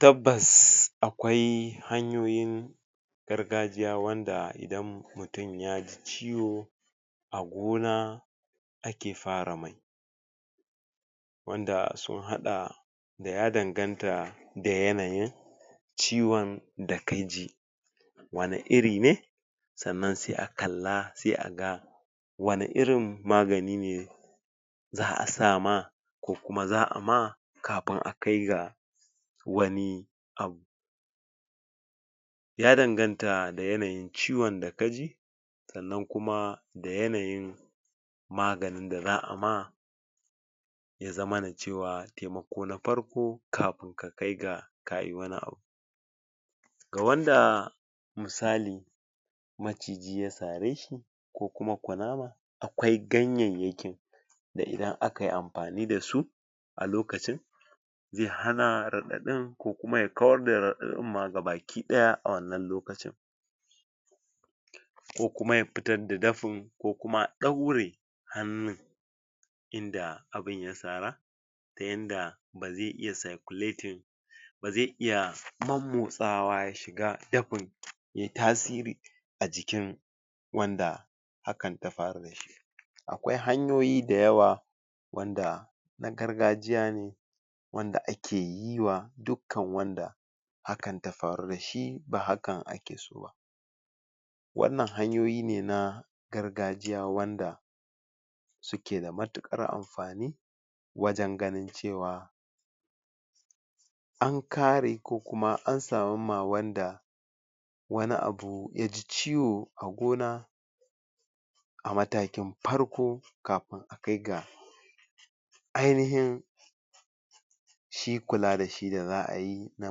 Tabbas akwai hanyoyin gargajiya wanda idan mutum ya ji ciwo a gona ake fara mai wanda sun haɗa da ya danganta da yanayin ciwon da ka ji wani iri ne sannan sai a kalla sai a ga wani irin magani ne za a sa ma ko kuma za a ma kafin a kai ga wani abu ya danganta da yanayin ciwon da ka ji sannan kuma da yanyin maganin da za a ma ya zamana cewa taimako na farko kafin ka kaiga kayi wani abu ga wanda misali maciji ya sare shi ko kuma kunama akwai ganyayyakin da idan aka yi amfani da su a lokacin zai hana raɗaɗin ko kuma ya kawar da raɗaɗin ma gabaki ɗaya a wanna lokacin ko kuma ya fitar da dafin ko kuma a ɗaure hannun inda abun ya sara ta yanda ba zai iya circulating ba zai iya mommotsawa ya shiga dafin yayi tasiri a jikin wanda hakan ta faru da shi akwai hanyoyi dayawa wanda na gargajiya ne wanda ake yi wa dukkan wanda hakan ta faru da shi ba hakan ake so ba wannan hanyoyi ne na gargajiya wanda suke da matuƙar amfani wajen ganin cewa an kare ko kuma an samar ma wanda wani abu ya ji ciwo a gona a matakin farko kafin kai ga ainihin shi kula da shi da za ayi na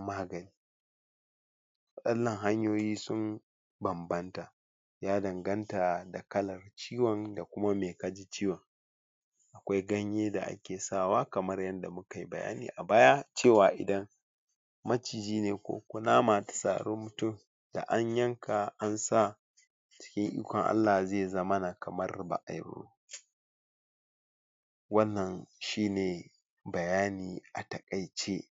magani wannan hanyoyi sun bambanta ya danganta da kalan ciwon da kuma me kaji ciwon akwai ganye da ake sawa kamar yanda muka yi bayani a baya cewa idan maciji ne kunama ta sari mutum da an yanka an sa cikin ikon Allah zai zamana kamar ba ayi ba wannan shine bayani a taƙaice.